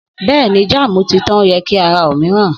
Bẹ́ẹ̀ni, jámù ti tàn, o ye kí a ra òmíràn.